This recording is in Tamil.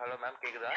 hello ma'am கேக்குதா